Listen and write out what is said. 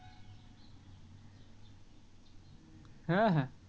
হ্যাঁ হ্যাঁ